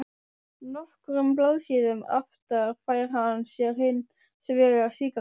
Nokkrum blaðsíðum aftar fær hann sér hins vegar sígarettu.